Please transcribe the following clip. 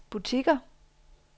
butikker